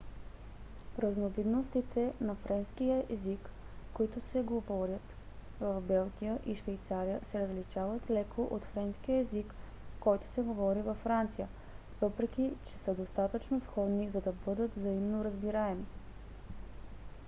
разновидностите на френски език които се говорят в белгия и швейцария се различават леко от френския език който се говори във франция въпреки че са достатъчно сходни за да бъдат взаимно разбираеми